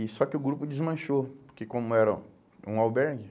E só que o grupo desmanchou, porque como era um albergue,